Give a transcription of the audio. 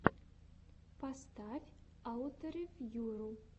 поставь ауторевьюру